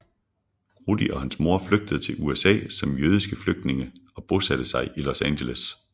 Rudi og hans mor flygtede til USA som jødiske flygtninge og bosatte sig i Los Angeles